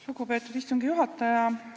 Lugupeetud istungi juhataja!